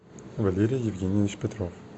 валерий евгеньевич петров